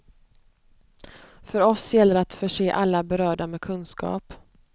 För oss gäller det att förse alla berörda med kunskap.